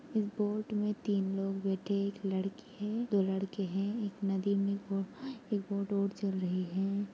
एक बोट मे तीन लोग बैठे एक लड़की हे दो लड़के हे एक नदी मे एक एक बोट वोट और चल रहे हैं।